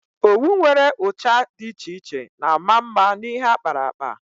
Owu nwere ụcha dị iche iche na-ama mma n'ihe akparakpa.